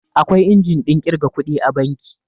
Akwai injin ɗin ƙirga kuɗi a banki